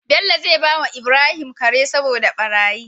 Bello zai bawa Ibrahim Kare saboda barayi